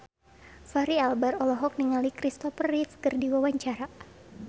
Fachri Albar olohok ningali Kristopher Reeve keur diwawancara